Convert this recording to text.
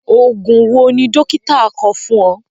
Oògùn wo ni dókítà kọ fún ọ?